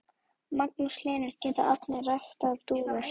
Magnús Hlynur: Geta allir ræktað dúfur?